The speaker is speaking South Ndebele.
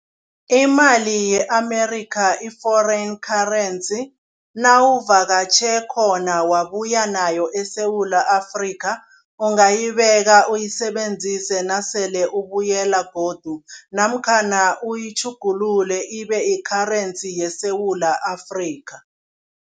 Imali ye-Amerikha i-foreign currency nawuvakatjhe khona wabuya nayo eSewula Afrika, ungayibeka uyisebenzise nasele ubuyela godu namkhana uyitjhugulule ibeyi-currency yeSewula Afrikha.